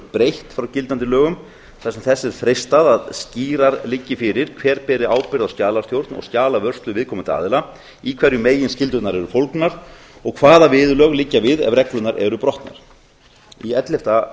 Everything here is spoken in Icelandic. breytt frá gildandi lögum vegna þess að þess er freistað að skýrar liggi fyrir hver bergi ábyrgð á skjalastjórn og skjalavörslu viðkomandi aðila í hverju meginskyldurnar eru fólgnar og hvaða meginviðurlög liggja við ef reglurnar eru brotnar ellefu